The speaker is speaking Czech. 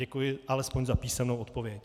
Děkuji alespoň za písemnou odpověď.